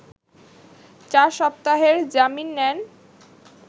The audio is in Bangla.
চার সপ্তাহের জামিন নেন